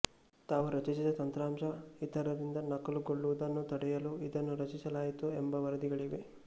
ತಾವು ರಚಿಸಿದ ತಂತ್ರಾಂಶ ಇತರರಿಂದ ನಕಲುಗೊಳ್ಳುವುದನ್ನು ತಡೆಯಲು ಇದನ್ನು ರಚಿಸಲಾಯಿತು ಎಂಬ ವರದಿಗಳಿವೆ